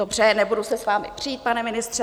Dobře, nebudu se s vámi přít, pane ministře.